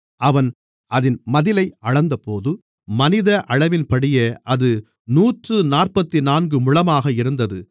அவன் அதின் மதிலை அளந்தபோது மனித அளவின்படியே அது நூற்றுநாற்பத்துநான்கு முழமாக இருந்தது